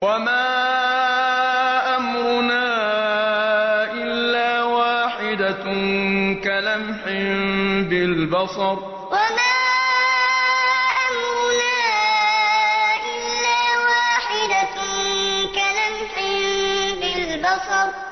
وَمَا أَمْرُنَا إِلَّا وَاحِدَةٌ كَلَمْحٍ بِالْبَصَرِ وَمَا أَمْرُنَا إِلَّا وَاحِدَةٌ كَلَمْحٍ بِالْبَصَرِ